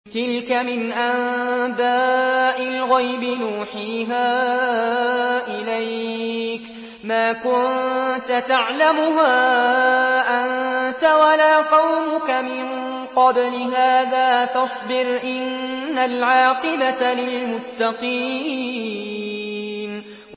تِلْكَ مِنْ أَنبَاءِ الْغَيْبِ نُوحِيهَا إِلَيْكَ ۖ مَا كُنتَ تَعْلَمُهَا أَنتَ وَلَا قَوْمُكَ مِن قَبْلِ هَٰذَا ۖ فَاصْبِرْ ۖ إِنَّ الْعَاقِبَةَ لِلْمُتَّقِينَ